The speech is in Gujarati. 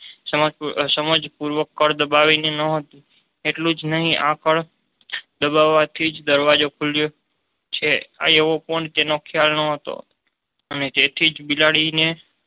સમાજ પૂર્વક કળ દબાવી ને એકલું જ નહી આ કળ દબાવવાથી જ દરવાજો ખુલ્યો છે આ એવો પણ તેનો ખ્યાલ ન હતો અને તેથી જ બિલાડી ને